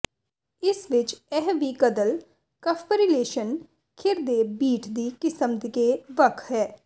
ਇਸ ਵਿਚ ਇਹ ਵੀ ਕਦਲ ਕਫ਼ਬਰੀਲੇਸ਼ਨ ਖਿਰਦੇ ਬੀਟ ਦੀ ਕਿਸਮ ਕੇ ਵੱਖ ਹੈ